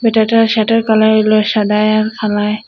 ব্যাটাটার শার্টের -এর কালার হইল সাদায় আর কালায়।